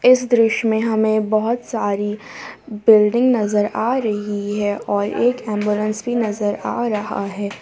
इस दृश्य में हमें बहुत सारी बिल्डिंग नजर आ रही है और एक एम्बुलेंस भी नजर आ रहा है।